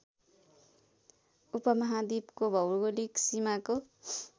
उपमहाद्वीपको भौगोलिक सीमाको